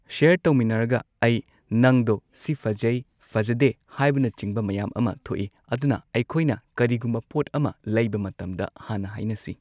ꯁꯤꯌꯔ ꯇꯧꯃꯤꯟꯅꯔꯒ ꯑꯩ ꯅꯪꯗꯣ ꯁꯤ ꯐꯥꯖꯩ ꯐꯖꯗꯦ ꯍꯥꯏꯕꯅꯆꯤꯡꯕ ꯃꯌꯥꯝ ꯑꯃ ꯊꯣꯛꯏ ꯑꯗꯨꯅ ꯑꯩꯈꯣꯏꯅ ꯀꯔꯤꯒꯨꯝꯕ ꯄꯣꯠ ꯑꯃ ꯂꯩꯕ ꯃꯇꯝꯗ ꯍꯥꯟꯅ ꯍꯥꯏꯅꯁꯤ꯫